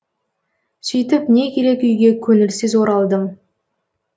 сөйтіп не керек үйге көңілсіз оралдым